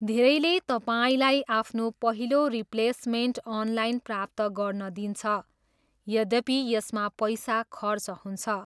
धेरैले तपाईँलाई आफ्नो पहिलो रिप्लेस्मेन्ट अनलाइन प्राप्त गर्न दिन्छ, यद्यपि यसमा पैसा खर्च हुन्छ।